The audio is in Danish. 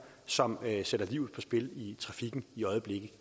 som sætter livet på spil i trafikken i øjeblikket